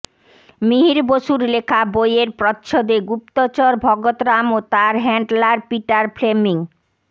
মিহির বসুর লেখা বইয়ের প্রচ্ছদে গুপ্তচর ভগতরাম ও তাঁর হ্যান্ডলার পিটার ফ্লেমিং